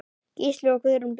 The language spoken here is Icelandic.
Gísli og Guðrún Björg.